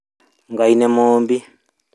Ngai nĩ mũũmbi